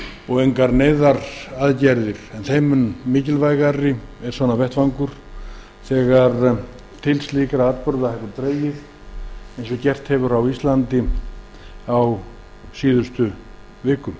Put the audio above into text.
og engar neyðaraðgerðir nauðsynlegar þeim mun mikilvægari er vettvangur sem þessi þegar til slíkra atburða hefur dregið eins og gerst hefur á íslandi á síðustu vikum